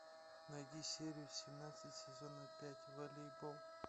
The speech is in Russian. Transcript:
найди серию семнадцать сезона пять волейбол